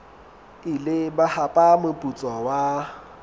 ile ba hapa moputso wa